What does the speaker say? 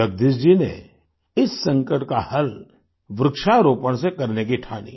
जगदीश जी ने इस संकट का हल वृक्षारोपण से करने की ठानी